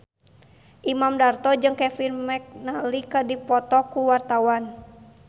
Imam Darto jeung Kevin McNally keur dipoto ku wartawan